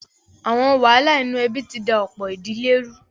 Àwọn wàhálà inú ẹbí ti da ọ̀pọ̀ ìdílé rú.